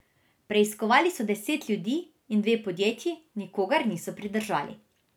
Preiskovali so deset ljudi in dve podjetji, nikogar niso pridržali.